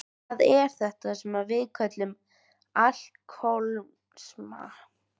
Hvað er þetta sem við köllum alkohólisma?